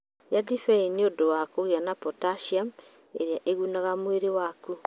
Iria ndibei nĩ ũndũ wa kũgĩa na potassium, ĩrĩa ĩgunaga mĩĩrĩ yaku.